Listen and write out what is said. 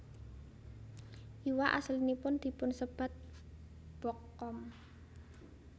Iwak asilipun dipunsebat bokkom